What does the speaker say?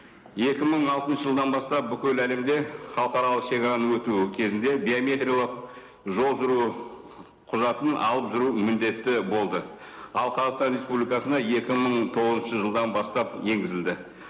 екі мың алтыншы жылдан бастап бүкіл әлемде халықаралық шегараны өтуі кезінде биометриялық жол жүру құжатын алып жүру міндетті болды ал қазақстан республикасына екі мың тоғызыншы жылдан бастап енгізілді